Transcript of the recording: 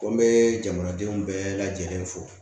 Ko n bɛ jamanadenw bɛɛ lajɛlen fo